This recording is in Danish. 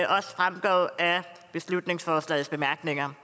beslutningsforslagets bemærkninger